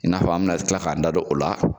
I na fɔ an mina kila k'an da don o la